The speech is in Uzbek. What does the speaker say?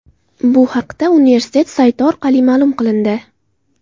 Bu haqda universitet sayti orqali ma’lum qilindi .